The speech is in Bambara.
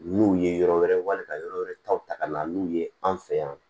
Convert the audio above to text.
N'u ye yɔrɔ wɛrɛ wali ka yɔrɔ wɛrɛ taw ta ka na n'u ye an fɛ yan